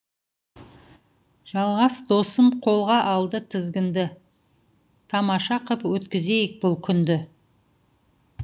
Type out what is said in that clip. жалғас досым қолға алды тізігінді тамаша қып өткізейік бұл күнді